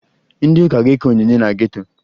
Ndị ụka ga-eke onyinye na geto